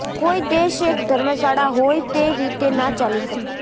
કોઇ દેશ એક ધર્મશાળા હોય તે રીતે ના ચાલી શકે